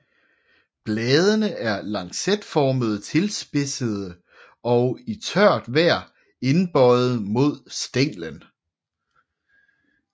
Bladene er lancetformet tilspidsede og i tørt vejr indbøjede mod stænglen